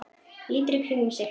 Lítur í kringum sig.